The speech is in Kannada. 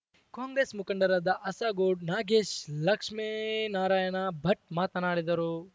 ಕಾಂಗ್ರೆಸ್‌ ಮುಖಂಡರಾದ ಅಸಗೋಡು ನಾಗೇಶ್‌ ಲಕ್ಷ್ಮೇನಾರಾಯಣ ಭಟ್‌ ಮಾತನಾಡಿದರು